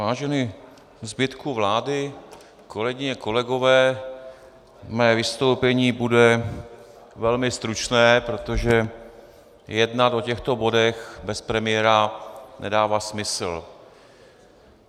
Vážený zbytku vlády, kolegyně, kolegové, mé vystoupení bude velmi stručné, protože jednat o těchto bodech bez premiéra nedává smysl.